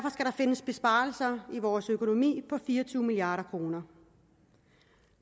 findes besparelser i vores økonomi på fire og tyve milliard kroner